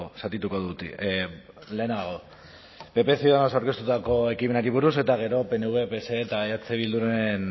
zatituko dut lehenago pp ciudadanos aurkeztutako ekimenari buruz eta gero pnv pse eta eh bilduren